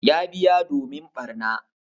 Ya biya domin barna.